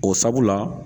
O sabula